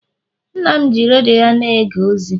nna m ji redio ya na-ege ozi